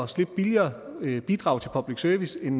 slippe billigere i bidrag til public service end